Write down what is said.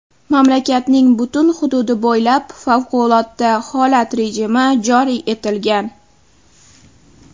Mamlakatning butun hududi bo‘ylab favqulodda holat rejimi joriy etilgan.